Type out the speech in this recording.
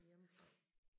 Hjemmefra